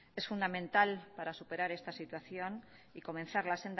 es fundamental para superar esta situación y comenzar la